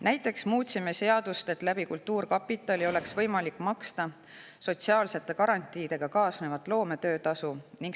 Näiteks muutsime seadust nii, et kultuurkapitali kaudu oleks võimalik maksta sotsiaalsete garantiidega kaasnevat loometöötasu.